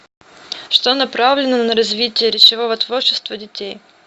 что направлено на развитие речевого творчества детей